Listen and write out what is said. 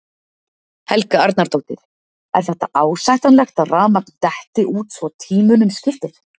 Helga Arnardóttir: Er þetta ásættanlegt að rafmagn detti út svo tímunum skiptir?